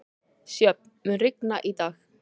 Sjöfn, mun rigna í dag?